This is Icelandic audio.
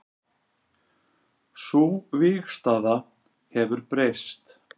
Sú vígstaða hefur breyst